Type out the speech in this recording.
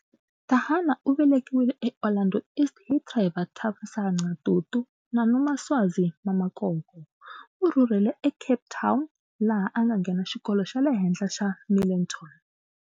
Thahane u velekiwile eOrlando East hi Trevor Thamsanqa Tutu na Nomaswazi Mamakoko. U rhurhele eCape Town laha anga nghena xikolo xale henhla xa Milnerton.